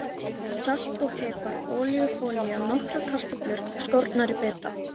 Salt og pipar Ólífuolía Nokkrar kartöflur skornar í bita.